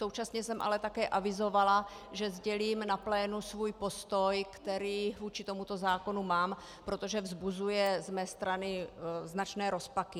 Současně jsem ale také avizovala, že sdělím na plénu svůj postoj, který vůči tomuto zákonu mám, protože vzbuzuje z mé strany značné rozpaky.